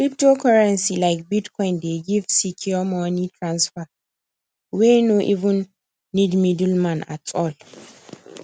cryptocurrency like bitcoin dey give secure money transfer wey no even need middleman at all